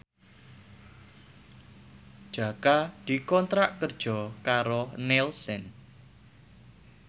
Jaka dikontrak kerja karo Nielsen